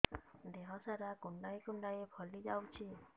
ଦେହ ସାରା କୁଣ୍ଡାଇ କୁଣ୍ଡାଇ ଫଳି ଯାଉଛି